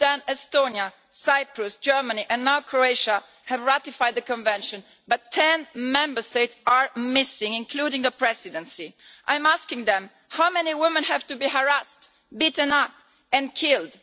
Since then, Estonia, Cyprus, Germany and now Croatia have ratified the Convention, but 10 Member States are missing, including the Presidency. I am asking them how many women have to be harassed, beaten up and killed?